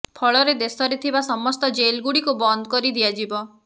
ଫଳରେ ଦେଶରେ ଥିବା ସମସ୍ତ ଜେଲ୍ଗୁଡ଼ିକୁ ବନ୍ଦ କରି ଦିଆଯିବ